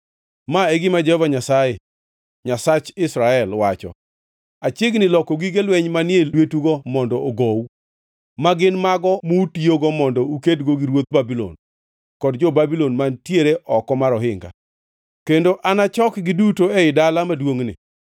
‘Ma e gima Jehova Nyasaye, Nyasach Israel, wacho: Achiegni loko gige lweny manie lwetugo mondo ogou, magin mago mutiyogo mondo ukedgo gi ruodh Babulon kod jo-Babulon mantiere oko mar ohinga. Kendo anachokgi duto ei dala maduongʼni.